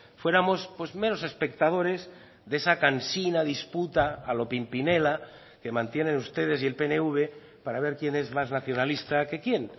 fuéramos pues meros espectadores de esa cansina disputa a lo pimpinela que mantienen ustedes y el pnv para ver quién es más nacionalista que quién